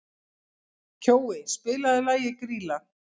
Kjói, spilaðu lagið „Grýla“.